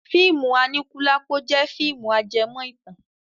Fíìmù Aníkúlápó jẹ́ fíìmù ajẹmọ́ ìtàn.